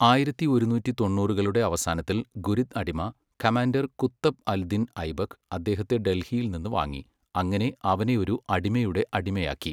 ആയിരത്തി ഒരുന്നൂറ്റി തൊണ്ണൂറുകളുടെ അവസാനത്തിൽ, ഗുരിദ് അടിമ കമാൻഡർ കുത്തബ് അൽ ദിൻ ഐബക്ക് അദ്ദേഹത്തെ ഡൽഹിയിൽ നിന്ന് വാങ്ങി, അങ്ങനെ അവനെ ഒരു അടിമയുടെ അടിമയാക്കി.